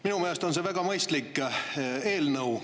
Minu meelest on see väga mõistlik eelnõu.